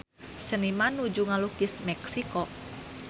Seniman nuju ngalukis Meksiko